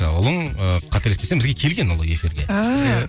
ұлың ыыы қателеспесем бізге келген ол эфирге ааа